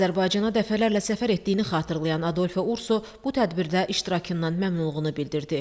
Azərbaycana dəfələrlə səfər etdiyini xatırlayan Adolfo Urso bu tədbirdə iştirakından məmnunluğunu bildirdi.